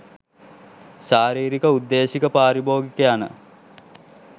ශාරිරික, උද්දේශික, පාරිභෝගික යන